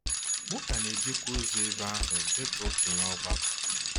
M ka na-ejekwa ozi n’ebe ahụ dị ka okenye ọgbakọ.